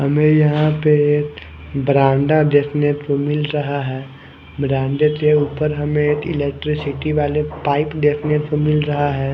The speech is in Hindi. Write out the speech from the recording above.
हमें यहां पे ब्रांडा देखने को मिल रहा है ब्रांडे के ऊपर हमें एक इलेक्ट्रिसिटी वाले पाइप देखने को मिल रहा है।